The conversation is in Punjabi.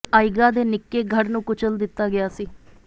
ਆਈਗਾ ਦੇ ਨਿੱਕੇ ਗੜ੍ਹ ਨੂੰ ਕੁਚਲ ਦਿੱਤਾ ਗਿਆ ਸੀ